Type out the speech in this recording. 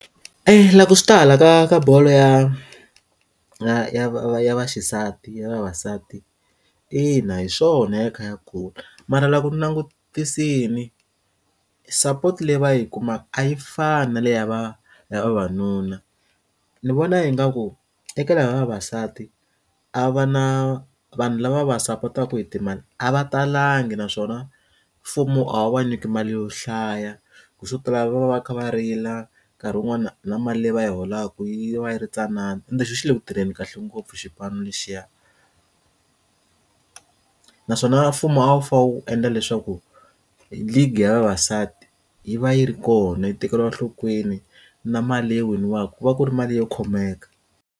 E laha ku swi ta hala ka ka bolo ya ya ya va ya va xisati ya vavasati ina hiswona ya kha ya kula mara loko langutisile sapoti leyi va yi kumaka a yi fani na le ya va ya vavanuna ndzi vona ingaku tekela vavasati a va na vanhu lava va sapotaku hi timali a va talangi naswona mfumo a wu va nyika mali yo hlaya ku swo tala va va va kha va rila nkarhi wun'wani na mali leyi va yi holaka yi va yi ri tsanana ende xi le kutirheni kahle ngopfu xipano lexiya naswona mfumo a wu fane wu endla leswaku League ya vavasati yi va yi ri kona yi tekeriwa enhlokweni na mali leyi winiwaku ku va ku ri mali yo khomeka.